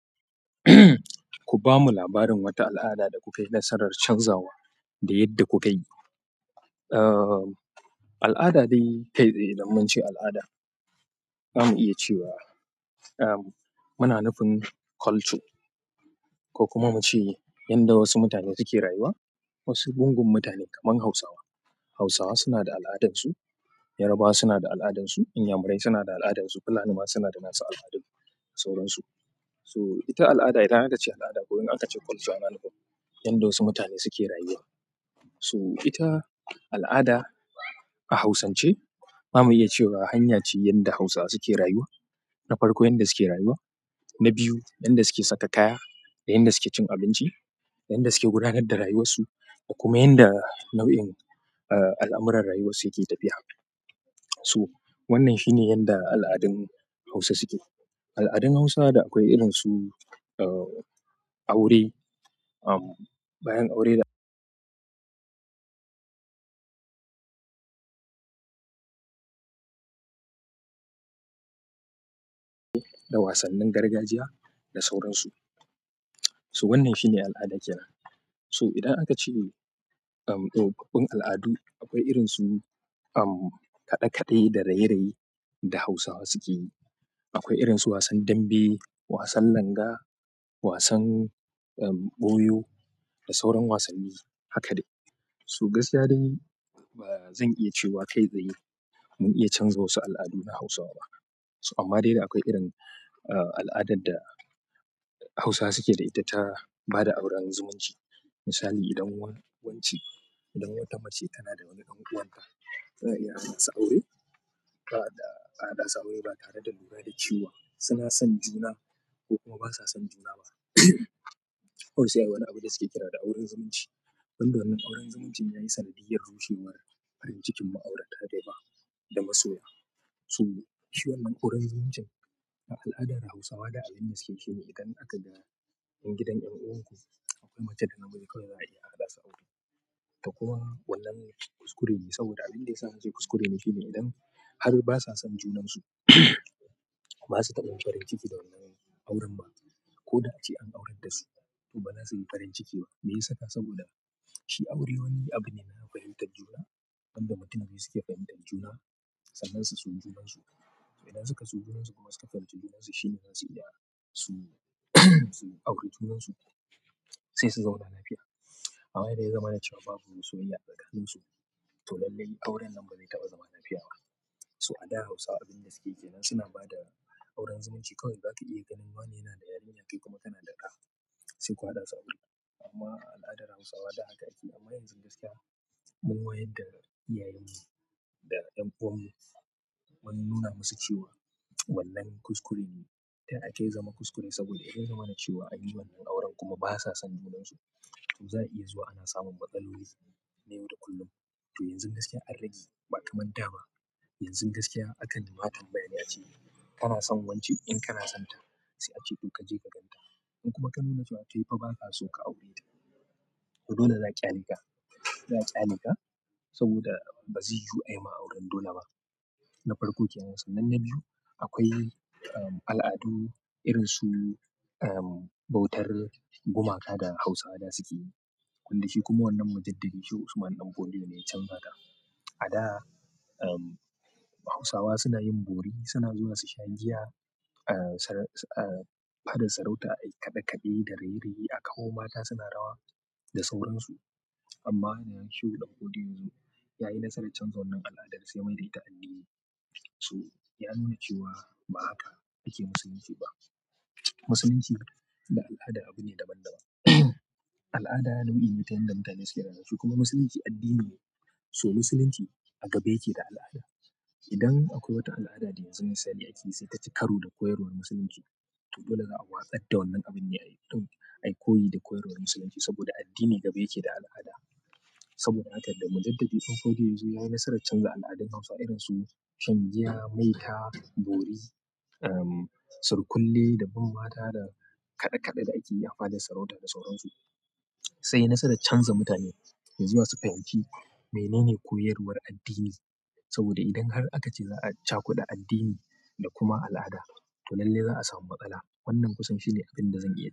Ku bamu labarin wata al'ada da kuka yi nasarar canzawa da yadda kuka yi? Al'ada dai, kai tsaye idan munce al'ada, za mu iya cewa muna nufin culture ko kuma mu ce yadda wasu mutane suke rayuwa. Wasu gungun mutane kamar Hausawa. Hausawa suna da al'adarsu, Yarabawa suna da al'adarsu, Inyamurai suna da al'adarsu, Fulani ma suna da nasu al'adun da sauran su. So ita al'ada idan aka ce al'ada ko idan aka ce culture, yana nufin yadda wasu mutane suke rayuwa. So ita al'ada a Hausance, za mu iya cewa hanya ce yadda Hausawa suke rayuwa. Na farko, yadda suke rayuwa. Na biyu, yadda suke saka kaya, da yadda suke cin abinci, yadda suke gudanar da rayuwarsu da kuma yadda nau'in al'amuran rayuwarsu yake tafiya. So wannan shine yadda al'adun Hausa suke. Al'adun Hausawa da akwai irinsu aure, bayan aure da da wasannin gargajiya da sauran su. To wannan shine al'ada kenan. To idan aka ce, um, babban al'adu, akwai irinsu kaɗe-kaɗe da raye-raye da Hausawa suke yi. Akwai irinsu wasan dambe, wasan langa, wasan, um, ɓoyo da sauran wasanni, haka dai. To gaskiya dai ba zan iya cewa kai tsaye mun iya canza wasu al'adun a Hausawa ba. To amma dai akwai irin al'adar da Hausawa suke da ita ta ba da auren zumunci. Misali, idan wancan, idan wata mace tana da wani ɗan uwanta, ba za a iya su aure. Ba a da ahaɗa su aure ba tare da lura da cewa suna son juna ko kuma ba sa son juna ba. Akwai sai ayi wani abu da suke kira da auren zumunci. Wannan auren zumuncin ya yi sanadiyar rushewar farin cikin ma'aurata da yawa da masoya. To shi wannan auren zumuncin a al'adar Hausawa da addinin Musulunci shine idan aka da in gidan ƴan uwanku akwai mace da namiji kawai za a iya al'ada su aure. Ta kuma, wannan kuskure ne saboda abin da ya sa na ce kuskure ne shine idan har basa son junansu, ba su taɓa farin ciki da wannan auren ba. Ko da ace an aurar da su, to baza suyi farin ciki ba. Meyasa? Saboda shi aure wani abu ne na fahimtar juna inda mutane suke fahimtar juna, sannan su so junansu. Idan suka so junansu kuma suka fahimci junansu shine zasu iya su aure junansu sai su zauna lafiya. Amma idan ya zama na cewa babu soyayya atsakanin su, to lallai auren nan ba zai taɓa zama lafiya ba. So a da Hausawa abin da suke yi yana suna ba da auren zumunci. Kawai za ka iya ganin wane yana da yarinya kai kuma kana da ɗa, sai ku haɗa su aure. Amma a al'adar Hausawa ba haka ake. Amma yanzu gaskiya mun wayar da iyayen mu da ƴan uwannin mu mun nuna musu cewa wannan kuskure ne. Taya akai ya zama kuskure saboda idan ya zama na cewa an yi wannan auren kuma basa son junansu, to za a iya zuwa ana samun matsaloli na yau da kullum. To yanzu gaskiya an rage ba kamar da ba. Yanzu gaskiya aka nima tambayar ya ce kana son wancan. In kana son ta, sai a ce duk kaje kagan ta. In kuma ka nuna cewa kaifa, ba ka so ka aure ta. To dole za'a kyaleka za'a kyaleka saboda bazai yiwu ayima auren dole ba na farko kenan. Sanannen biyu, akwai al'adu irinsu bautar gumaka da Hausawa da suke yi. Wanda shi kuma wannan mujaddadi Shehu Usman ɗan Fodio ne ya canza ta. A da, um, Hausawa suna yin bori, suna zuwa su shagiya, ah, s-ah, fadar sarauta ai kaɗe-kaɗe da raye-raye a kawo mata suna rawa da sauran su. Amma da shehu ɗan fodiyo yazo yayi nasarar canza wannan aladar da suka mayar da ita addini so ya nuna cewa ba haka yake Musulunci ba. Musulunci da al'ada abu ne daban-daban. Al'ada nau'in mutanen da mutane suke rayuwa su kuma Musulunci addini ne. To Musulunci a gaba yake da al'ada. Idan akwai wata alada da yanzu misali akeyi sai taci karo da koyarwar musulunci to dole za'a watsar da wannan abin ayi koyi da koyarwar musulunci saboda addini gaba yake da alada saboda haka da Mujaddabi ɗan Fodio ya zo ya yi nasarar canza al'adun Hausawa irinsu shan giya, maita, bori, um, sarki kule da bin mata da kaɗe-kaɗe da ake yi a fadar sarauta da sauran su. Zaiyi nasarar canza mutane yazuwa su fahimci menene koyar war addini saboda idan har akace za'a cakuɗa addini da kuma alada to lallai za'a samu matsala wannan kusan shine abinda zan iya.